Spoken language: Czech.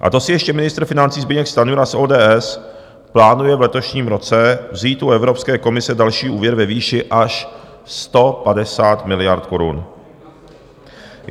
A to si ještě ministr financí Zbyněk Stanjura z ODS plánuje v letošním roce vzít u Evropské komise další úvěr ve výši až 150 miliard korun.